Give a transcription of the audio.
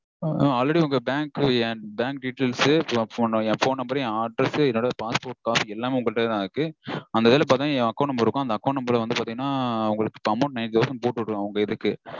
Already bank என் bank details, என் phone number, என் address, என்னோட passport pass எல்லாமே உங்கக்கிட்டதா இருக்கு. அந்த இதுல பாத்தீங்கனா என் account number இருக்கும். அந்த இதுல பாத்தீங்கனா account number இருக்கும். அந்த account number வந்து பாத்தீங்கனா உங்களுக்கு இப்போ amount nine thousand போட்டு விடுவேன் உங்க இதுக்கு.